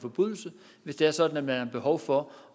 forbrydelse hvis det er sådan at man har behov for